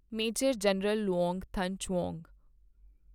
major general Luong Thanh Chuong